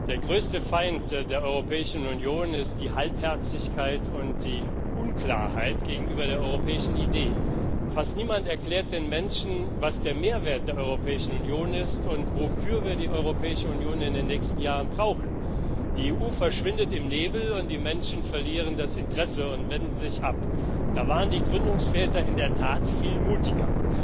Der größte Feind der Europäischen Union ist die Halbherzigkeit und die Unklarheit gegenüber der europäischen Idee. Fast niemand erklärt den Menschen, was der Mehrwert der Europäischen Union ist und wofür wir die Europäische Union in den nächsten Jahren brauchen. Die EU verschwindet im Nebel, und die Menschen verlieren das Interesse und wenden sich ab. Da waren die Gründungsväter in der Tat viel mutiger.